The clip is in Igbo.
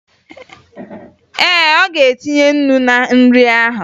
Ee, ọ ga-etinye ńnú na nri ahụ